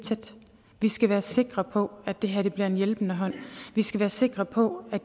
tæt vi skal være sikre på at det her bliver en hjælpende hånd vi skal være sikre på at